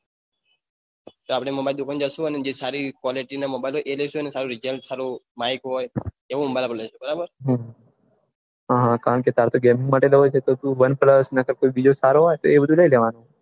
આપડે mobile ની દુકાને જાસો અને જે સારી quality નો mobile એ લઈશું રિજલ્ટ સારું માઈક હોય એવું બરાબર લેસો હમ હા કારણકે તાર તો ગેમિંગ માટે mobile જોયતો તો વન પલ્સ બીજો સારો હોય